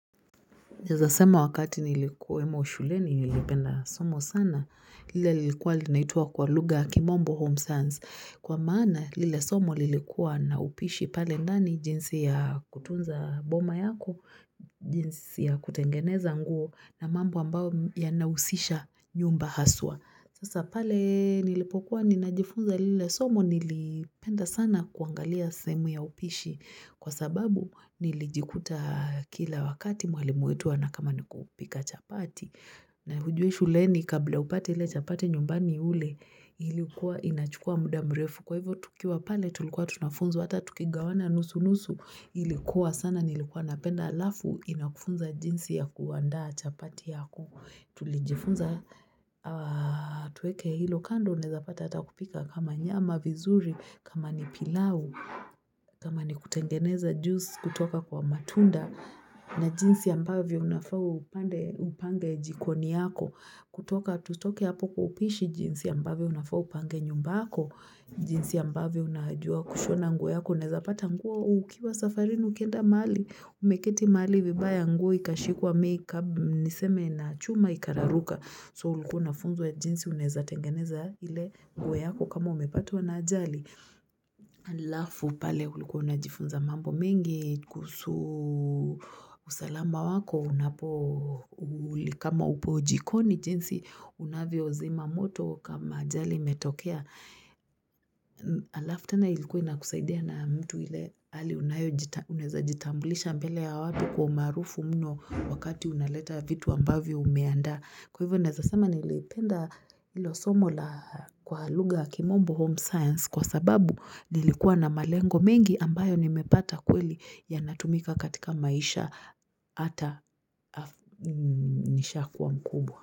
Naeza sema wakati nilikuwemo shuleni, nilipenda somo sana, lile lilikuwa linaitwa kwa lugha kimombo home science. Kwa maana, lile somo lilikuwa na upishi pale ndani jinsi ya kutunza boma yako, jinsi ya kutengeneza nguo, na mambo ambao yanahusisha nyumba haswa. Sasa pale nilipokuwa ninajifunza lile somo nilipenda sana kuangalia semu ya upishi kwa sababu nilijikuta kila wakati mwalimu wetu na kama niku pika chapati na hujue shuleni kabla upate ile chapate nyumbani ule ilikuwa inachukua muda mrefu kwa hivyo tukiwa pale tulikuwa tunafunzwa hata tuki gawana nusu nusu ilikuwa sana nilikuwa napenda alafu inakufunza jinsi ya kuanda chapati ya ku tulijifunza Tueke hilo kando unaeza pata ata kupika kama nyama vizuri, kama ni pilau, kama ni kutengeneza juice kutoka kwa matunda na jinsi ambavyo unafaa upange jikoni yako. Kutoka tutoke hapo kwa upishi jinsi ambavyo unafau upange nyumbako, jinsi ambavyo unaajua kushona nguo yako. Unaeza pata nguo ukiwa safarini ukienda mahali, umeketi mahali vibaya nguo ikashikwa make-up niseme na chuma ikararuka so ulikuwa unafunzwa ya jinsi unaeza tengeneza ile mguo yako kama umepatwa na ajali alafu pale ulikuwa unajifunza mambo mengi kuhusu usalama wako unapo kama upo jikoni jinsi unavyo zima moto kama ajali imetokea alafu tena ilikuwa na kusaidia na mtu hile hali unayo jitambulisha mbele ya watu kwa umaarufu mno wakati unaleta vitu ambavyo ume andaa kwa hivyo naeza sema nilipenda ilo somo la kwa lugha kimombo home science kwa sababu nilikuwa na malengo mengi ambayo nimepata kweli yanatumika katika maisha ata nishaa kuwa mkubwa.